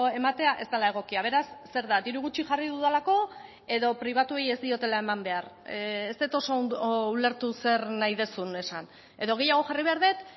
ematea ez dela egokia beraz zer da diru gutxi jarri dudalako edo pribatuei ez diotela eman behar ez dut oso ondo ulertu zer nahi duzun esan edo gehiago jarri behar dut